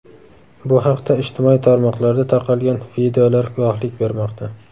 Bu haqda ijtimoiy tarmoqlarda tarqalgan videolar guvohlik bermoqda.